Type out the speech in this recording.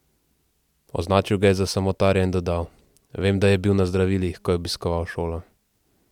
Označil ga je za samotarja in dodal: "Vem, da je bil na zdravilih, ko je obiskoval šolo.